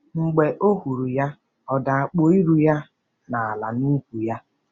Mb͕e ọ huru ya, ọ da kpue iru-ya nala nukwu-ya.